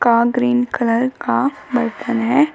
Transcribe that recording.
आ green colour का बर्तन है।